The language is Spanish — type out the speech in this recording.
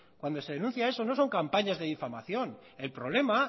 cuando se denuncia eso no son campañas de difamación el problema